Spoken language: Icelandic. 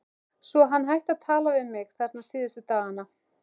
Svo hann hætti að tala við mig, þarna síðustu dagana.